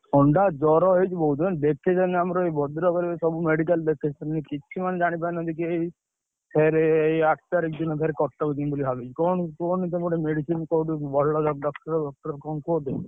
ଥଣ୍ଡା ଜର ହେଇଛି ବହୁତ ଜାଣିଛୁ, ଦେଖେଇ ସାଇଲଉଁ ଆମର ଭଦ୍ରକରେ ସବୁ medical ଦେଖେଇ ସାଇଲିଣି କିଛି ମାନେ ଜାଣିପାରୁ ନାହାନ୍ତି କେହି। ଫେରେ ଏଇ, ଆଠ ତାରିଖ ଦିନ ଫେରେ କଟକ ଯିବି ବୋଲି ଭାବିଛି, କଣ କୁହନି ତମେ medicine କୋଉଠୁ ଭଲ doctor ଫକ୍ଟର କଣ କୁହ ତମେ।